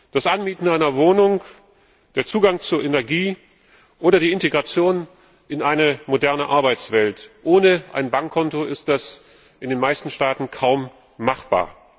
Das Anmieten einer Wohnung, der Zugang zu Energie oder die Integration in eine moderne Arbeitswelt Ohne ein Bankkonto ist das in den meisten Staaten kaum machbar.